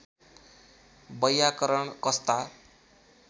वैयाकरण कस्ता